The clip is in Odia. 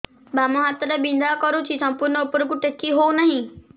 ବାମ ହାତ ଟା ବିନ୍ଧା କରୁଛି ସମ୍ପୂର୍ଣ ଉପରକୁ ଟେକି ହୋଉନାହିଁ